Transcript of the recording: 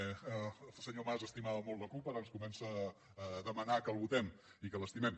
el senyor mas estimava molt la cup ara ens comença a demanar que el votem i que l’estimem